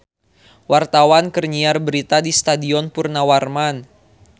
Wartawan keur nyiar berita di Stadion Purnawarman